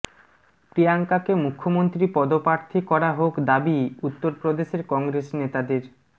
প্রিয়াঙ্কাকে মুখ্যমন্ত্রী পদপ্রার্থী করা হােক দাবি উত্তরপ্রদেশের কংগ্রেস নেতাদের